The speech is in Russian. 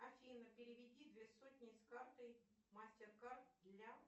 афина переведи две сотни с карты мастер кард для